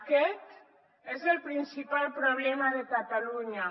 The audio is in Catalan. aquest és el principal problema de catalunya